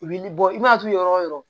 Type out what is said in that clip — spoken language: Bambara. U b'i bɔ i mana turu yɔrɔ o yɔrɔ